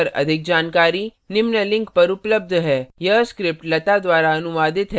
इस mission पर अधिक जानकारी निम्न लिंक पर उपलब्ध है